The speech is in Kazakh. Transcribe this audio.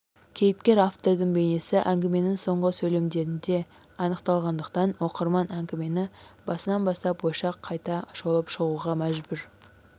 кейіпкер-автордың бейнесі әңгіменің соңғы сөйлемдерінде анықталатындықтан оқырман әңгімені басынан бастап ойша қайта шолып шығуға мәжбүр